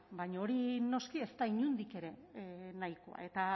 baina hori noski ez da inondik ere nahikoa eta